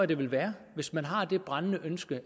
det vil være hvis man har det brændende ønske